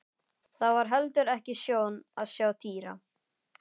Það var heldur ekki sjón að sjá Týra.